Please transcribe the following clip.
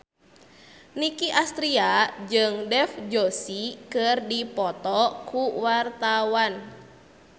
Nicky Astria jeung Dev Joshi keur dipoto ku wartawan